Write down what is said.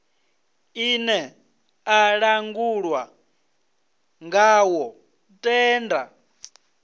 ḽine ḽa langulwa ngawo tenda